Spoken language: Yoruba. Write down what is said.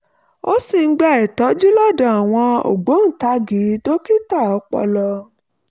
ó sì ń gba ìtọ́jú lọ́dọ̀ àwọn ògbóǹtagì dókítà ọpọlọ